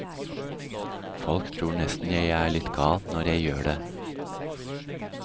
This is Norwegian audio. Folk tror nesten jeg er litt gal når jeg gjør det.